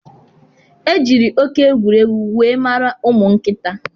Ejiri oké egwuregwu wee mara ụmụ nkịta.